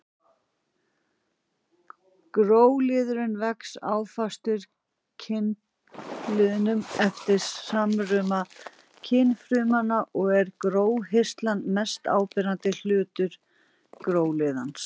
Gróliðurinn vex áfastur kynliðnum eftir samruna kynfrumanna og er gróhirslan mest áberandi hluti gróliðarins.